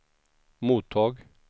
mottag